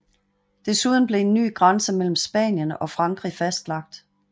Desuden blev en ny grænse mellem Spanien og Frankrig fastlagt